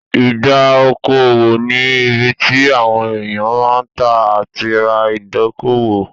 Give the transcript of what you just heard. Ìdá okò òwò ni ibi tí àwọn èèyàn máa ń tà àti ra ìdókòwò